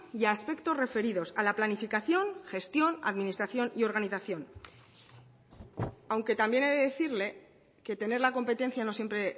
y aspectos referidos a la planificación gestión administración y organización aunque también he de decirle que tener la competencia no siempre